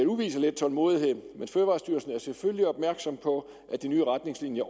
udvise lidt tålmodighed men fødevarestyrelsen er selvfølgelig opmærksom på at de nye retningslinjer